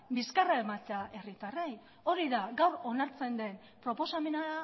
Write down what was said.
bizkarra ematea herritarrei hori da gaur onartzen den proposamena